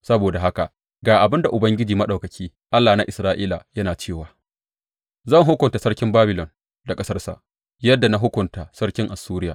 Saboda haka ga abin da Ubangiji Maɗaukaki, Allah na Isra’ila, yana cewa, Zan hukunta sarkin Babilon da ƙasarsa yadda na hukunta sarkin Assuriya.